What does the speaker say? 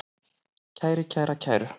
kæri, kæra, kæru